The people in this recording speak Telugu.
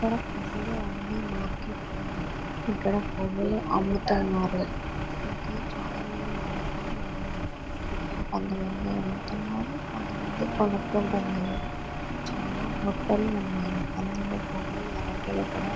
ఇక్కడ పువ్వులు అమ్మే మార్కెట్ ఉంది.ఇక్కడ పువ్వులు అమ్ముతున్నారు.ఇక్కడ చాలామంది మనుషులు ఉన్నారు.ఇక్కడ కొంతమంది అమ్ముతున్నారు. కొంతమంది కొనుక్కుంటున్నారు.చాలా బుట్టలు ఉన్నాయి. అందులో పువ్వులు వెరైటీలు కూడా--